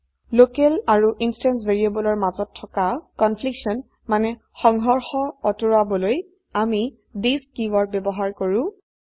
local আৰু instance ভ্যাৰিয়েবলৰ মাজত থকা কনফ্লিকশ্যন মানে সংহৰ্শ অতৰুৱাবলৈ আমি থিচ কীওয়াৰ্ড ব্যবহাৰ কৰো